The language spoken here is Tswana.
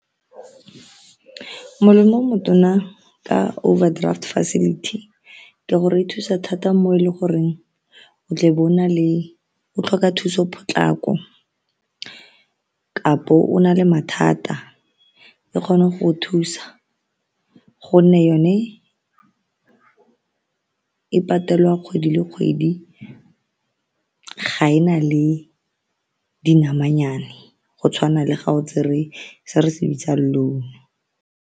Molemo o motona ka overdraft facility ke gore e thusa thata mo e le goreng o tlebe o tlhoka thuso potlako kapo o na le mathata e kgona go thusa gonne yone e patelwa kgwedi le kgwedi, ga e na le dinamanyane go tshwana le ga o tsere se re se bitsang loan.